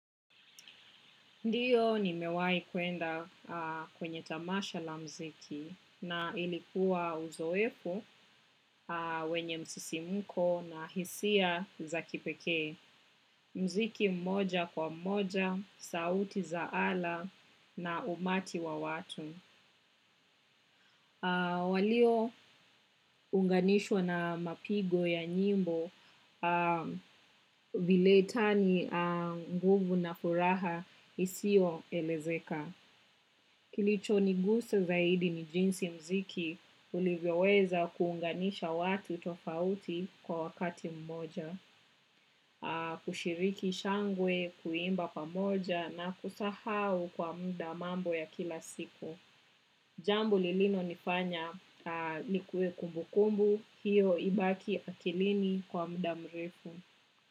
Ndiyo nimewai kuenda kwenye tamasha la muziki na ilikuwa uzoefu wenye msisimko na hisia za kipekee. Muziki mmoja kwa moja, sauti za ala na umati wa watu. Waliounganishwa na mapigo ya nyimbo vile tani nguvu na furaha isio elezeka. Kilichonigusa zaidi ni jinsi muziki ulivyoweza kuunganisha watu tofauti kwa wakati mmoja, kushiriki shangwe, kuimba pamoja na kusahau kwa muda mambo ya kila siku. Jambo lililonifanya nikue kumbukumbu, hiyo ibaki akilini kwa muda mrefu.